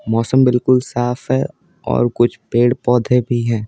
मौसम बिल्कुल साफ है और कुछ पेड़ पौधे भी हैं।